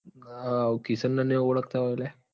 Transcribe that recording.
અ કિશાન ન નાઈ ઓળખતા હોય લ્યા.